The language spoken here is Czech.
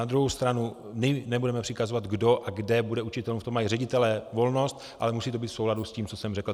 Na druhou stranu my nebudeme přikazovat, kdo a kde bude učit, v tom mají ředitelé volnost, ale musí to být v souladu s tím, co jsem řekl.